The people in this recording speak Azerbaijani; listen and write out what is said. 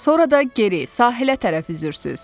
Sonra da geri sahilə tərəf üzürsüz.